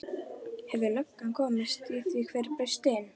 Hefur löggan komist að því hver braust inn?